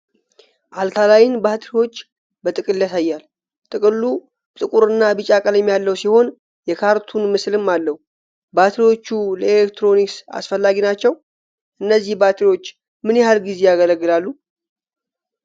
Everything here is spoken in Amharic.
አልካላይን ባትሪዎችን በጥቅል ያሳያል። ጥቅሉ ጥቁርና ቢጫ ቀለም ያለው ሲሆን፣ የካርቱን ምስልም አለው። ባትሪዎቹ ለኤሌክትሮኒክስ አስፈላጊ ናቸው። እነዚህ ባትሪዎች ምን ያህል ጊዜ ያገለግላሉ?